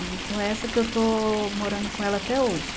E com essa que eu estou morando com ela até hoje.